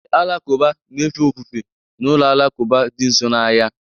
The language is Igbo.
Ndị Alakụba na-efe ofufe na ụlọ alakụba dị nso n'ahịa